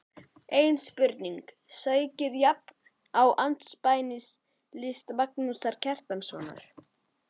Ein spurning sækir jafnan á andspænis list Magnúsar Kjartanssonar